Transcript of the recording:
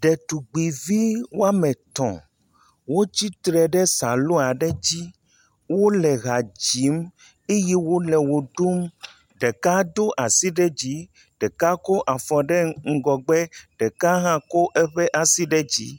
Ɖetugbui vi woame etɔ̃, wo tsitre ɖe salooa ɖe dzi, wole hadzim, eye wole wo ɖum, ɖeka do asi ɖe dzi, ɖeka ko afɔ ɖe ŋgɔgbe, ɖeka hã ko eƒe asi ɖe dzi.